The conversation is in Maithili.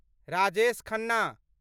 राजेश खन्ना